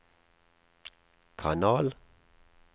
kanal